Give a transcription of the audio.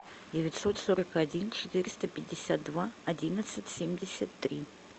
девятьсот сорок один четыреста пятьдесят два одиннадцать семьдесят три